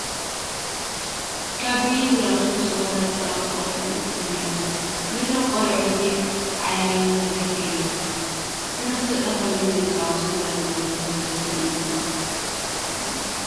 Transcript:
ከም ቢይን ዝኣምሰለ ፀወታ ዝፃወቱ ቆልዑ እኔዉ፡፡ ነዞም ቆልዑ እዚ ዓይዪ ነገር እዩ፡፡ ብተመስጦ ኮይኖም ይፃወቱ ዝርአዩ ዘለዉ ስለዚ እዩ፡፡